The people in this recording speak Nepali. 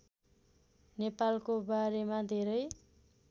नेपालको बारेमा धेरै